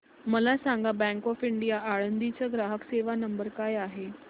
मला सांगा bank of India Alandi चा ग्राहक सेवा नंबर काय आहे